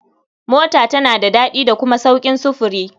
Mota tana da daɗi da kuma sauƙin sufuri.